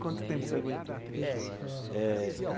Quanto tempo você aguentou? Eh.